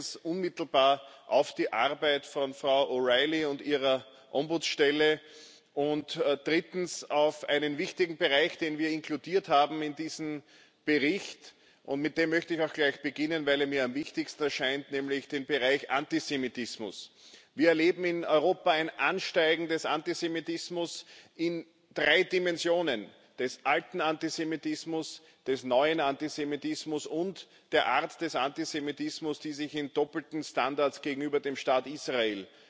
Zweitens unmittelbar auf die Arbeit von Frau O'Reilly und ihrer Ombudsstelle. Drittens auf einen wichtigen Bereich, den wir in diesen Bericht inkludiert haben. Mit dem möchte ich auch gleich beginnen, weil er mir am wichtigsten erscheint, nämlich der Bereich Antisemitismus. Wir erleben in Europa ein Ansteigen des Antisemitismus in drei Dimensionen des alten Antisemitismus, des neuen Antisemitismus und der Art des Antisemitismus, die sich in doppelten Standards gegenüber dem Staat Israel